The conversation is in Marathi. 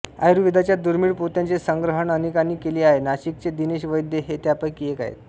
आयुर्वेदाच्या दुर्मीळ पोथ्यांचे संग्रहण अनेकांनी केले आहे नाशिकचे दिनेश वैद्य हे त्यांपैकी एक आहेत